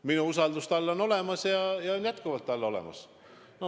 Minu usaldus on tal olemas ja on jätkuvalt olemas.